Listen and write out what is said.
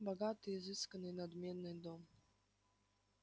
богатый изысканный и надменный дом